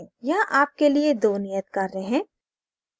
यहाँ आपके लिए 2 नियत कार्य हैं